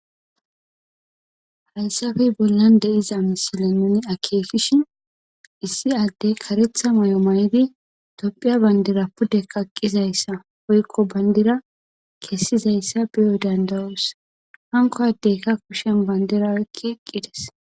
Haysappe bollan de'iza misile nun akekishn issi addey karetha mayo mayid tophiya Bandra pude kaqizaysa woyko bandira kesizaysa beyo danda'os. Hanko adeyka bandira oyki eqides.